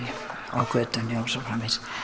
á götunni og svo framvegis